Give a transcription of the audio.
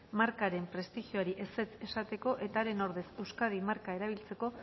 markaren prestigioari ezetz esateko eta haren ordez euskadi marka erabiltzeko